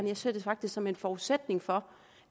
jeg ser det faktisk som en forudsætning for